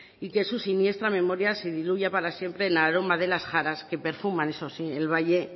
y que su siniestra memoria se diluya para siempre en el aroma de las jaras que perfuman eso sí el valle